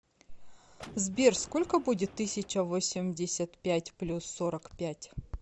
сбер сколько будет тысяча восемьдесят пять плюс сорок пять